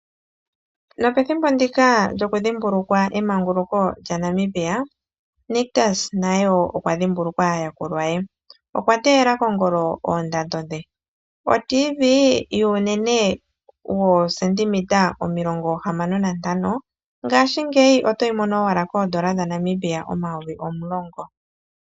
Nopethimbo ndika lyoku dhimbulukwa emanguluko lyaNamibia, Nictus naye wo okwa dhimbulukwa aayakulwa ye. Okwa teyela kongolo oondando dhe. Otivi yuunene woosendimita omilongo hamano nantano ngaashingeyi otoyi mono owala koondola dhaNamibia omayovi omulongo.